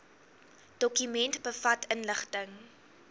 dokument bevat inligting